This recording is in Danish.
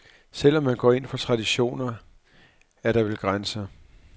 Selv om man går ind for traditioner, er der vel grænser.